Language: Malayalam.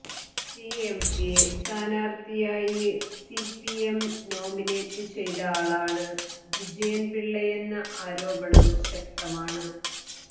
സിഎംപി സ്ഥാനാര്ത്ഥിയായി സിപിഎം നോമിനേറ്റ് ചെയ്ത ആളാണ് വിജയന്പിള്ളയെന്ന ആരോപണം ശക്തമാണ്